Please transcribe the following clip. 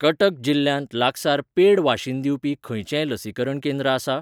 कटक जिल्ल्यांत लागसार पेड वाशीन दिवपी खंयचेंय लसीकरण केंद्र आसा?